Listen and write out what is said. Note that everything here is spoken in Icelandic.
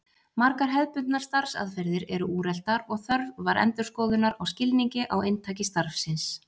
Margar hefðbundnar starfsaðferðir urðu úreltar og þörf var endurskoðunar á skilningi á inntaki starfsins.